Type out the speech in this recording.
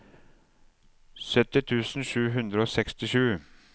sytti tusen sju hundre og sekstisju